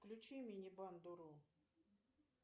включи мини бандуру